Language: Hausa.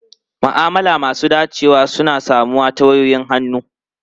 Ma'amala masu dacewa na samuwa ta wayoyin hannu.